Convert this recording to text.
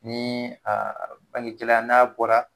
Ni a balikɛla n'a bɔra